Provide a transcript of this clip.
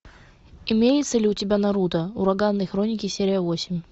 имеется ли у тебя наруто ураганные хроники серия восемь